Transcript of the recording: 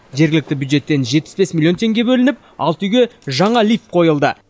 жергілікті бюджеттен жетпіс бес миллион теңге бөлініп алты үйге жаңа лифт қойылды